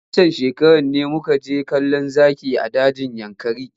Waccan shekarar ne muka je kallon zaki a dajin yankari.